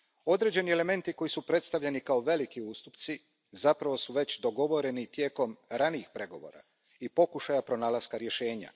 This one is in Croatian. Određeni elementi koji su predstavljeni kao veliki ustupci zapravo su već dogovoreni tijekom ranijih pregovora i pokušaja pronalaska rješenja.